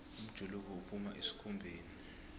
umjuluko uphuma esikhumbeni